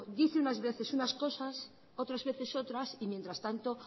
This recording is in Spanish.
dice unas veces unas cosas otras veces otras y mientras tanto